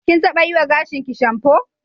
Kin taɓa yiwa gashinki shamfo.